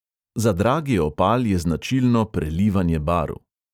Za dragi opal je značilno prelivanje barv.